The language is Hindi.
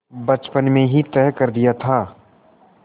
बचपन में ही तय कर दिया था